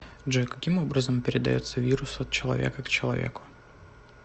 джой каким образом передается вирус от человека к человеку